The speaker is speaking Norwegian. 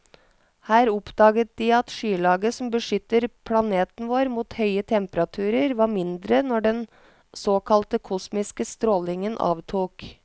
Her oppdaget de at skylaget som beskytter planeten vår mot høye temperaturer, var mindre når den såkalte kosmiske strålingen avtok.